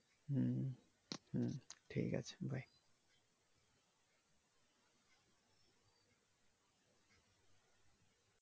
হম হম ঠিক আছে bye